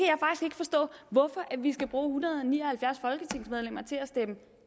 forstå hvorfor vi skal bruge en hundrede og ni og halvfjerds folketingsmedlemmer til at stemme